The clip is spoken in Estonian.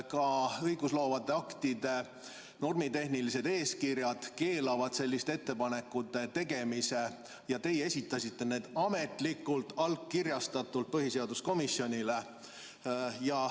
Ka õigustloovate aktide normitehnilised eeskirjad keelavad selliste ettepanekute tegemise, aga teie esitasite need ametlikult, allkirjastatult põhiseaduskomisjonile.